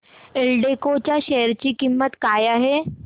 एल्डेको च्या शेअर ची किंमत काय आहे